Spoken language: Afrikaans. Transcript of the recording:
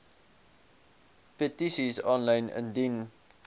petisies aanlyn indien